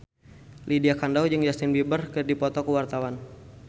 Lydia Kandou jeung Justin Beiber keur dipoto ku wartawan